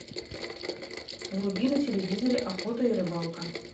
вруби на телевизоре охота и рыбалка